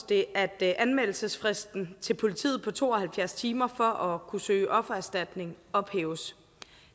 det at anmeldelsesfristen til politiet på to og halvfjerds timer for at kunne søge offererstatning ophæves